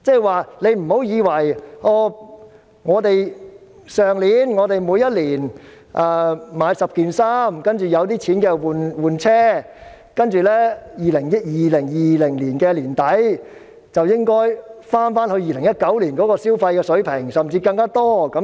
換言之，以往我們每年買10件衣服、有錢便換車，但現在我們不應再想2020年年底回到甚至超越2019年的消費水平。